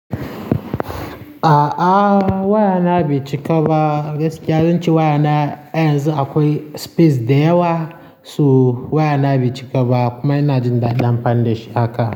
A'a waya na bai cika ba, gaskiya zan ce waya na yanzu akwai space da yawa, so waya na bai cika ba kuma ina jin ɗadin amfani dashi haka.